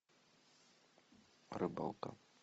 рыбалка